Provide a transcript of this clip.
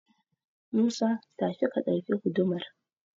Musa, tashi ka ɗauki gudumar.